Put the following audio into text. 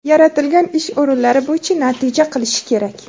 yaratilgan ish o‘rinlari bo‘yicha natija qilishi kerak.